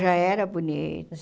Já era bonito.